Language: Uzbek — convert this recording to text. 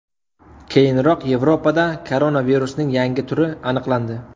Keyinroq Yevropada koronavirusning yangi turi aniqlandi .